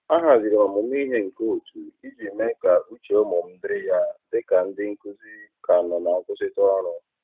A haziri m ọmụmụ ihe nke otu iji mee ka uche ụmụ m dịrị ya dị ka ndị nkụzi ka nọ na nkwụsịtụ ọrụ.